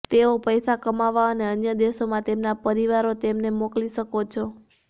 તેઓ પૈસા કમાવવા અને અન્ય દેશોમાં તેમના પરિવારો તેમને મોકલી શકો છો